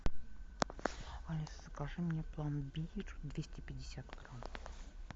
алиса закажи мне пломбир двести пятьдесят грамм